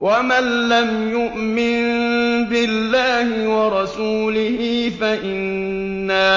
وَمَن لَّمْ يُؤْمِن بِاللَّهِ وَرَسُولِهِ فَإِنَّا